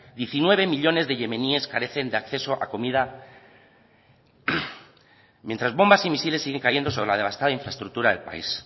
diecinueve millónes de yemeníes carecen de acceso a comida mientras bombas y misiles siguen cayendo sobre la devastada estructura del país